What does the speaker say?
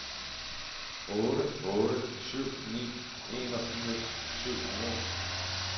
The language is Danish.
otte otte syv ni enogfirs syv hundrede